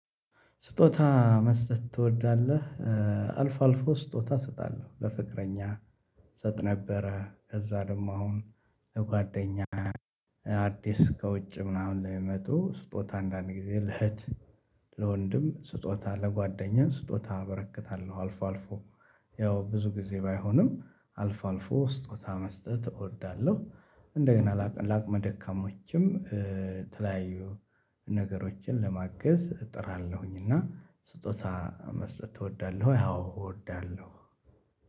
ስጦታ መስጠት ትወዳለህ? አልፎ አልፎ ስጦታ እስጣለሁ ለፍቅረኛ እሰጥ ነበረ። ከዛ ደግሞ አሁን ጓደኛ አዲስ ከውጭ ምናምን ለመጡ ስጦታ አንዳንዴ ለእህት ለወንድም ስጦታ ለጓደኛ ስጦታ አበረከታለው። አልፎ አልፎ ያው ብዙ ጊዜ ባይሆንም አልፎ አልፎ ስጦታ መስጠት እወዳለሁ። እንደገና ላቅመ ደካማዎችም ተለያዩ ነገሮችን ለማገዝ እጥራለሁኝ። እና ስጦታ መስጠት እወዳለሁ አዎ እወዳለሁ።